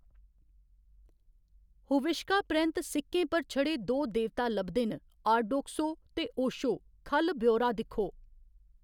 हुविश्का परैंत्त, सिक्कें पर छड़े दो देवता लभदे न, आर्डोक्सो ते ओशो ख'ल्ल ब्यौरा दिक्खो।